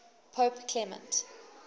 pope clement